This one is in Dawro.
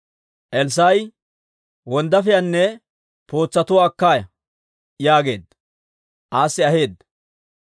Elssaa'i, «Wonddaafiyaanne pootsatuwaa akka ya» yaageedda; aassi aheedda.